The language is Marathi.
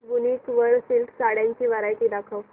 वूनिक वर सिल्क साड्यांची वरायटी दाखव